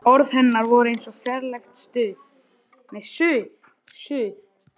Orð hennar voru eins og fjarlægt suð.